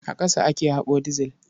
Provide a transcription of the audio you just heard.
A ƙasa ake haƙo dizil.